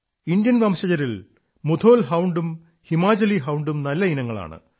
Indian വംശജരിൽ Mudhol hound Himachali ഹൌഡും നല്ല ഇനങ്ങളാണ്